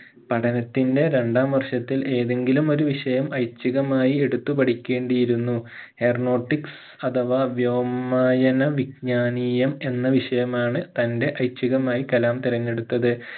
പഠനത്തിന്റെ രണ്ടാം വർഷത്തിൽ ഏതെങ്കിലും ഒരു വിഷയം ഐച്ഛികമായി എടുത്തു പഠിക്കേണ്ടിയിരുന്നു aeronautics അഥവാ വ്യോമായന വിജ്ഞാനീയം എന്ന വിഷയമാണ് തന്റെ ഐച്ഛികമായി കലാം തിരിഞ്ഞടുത്തത്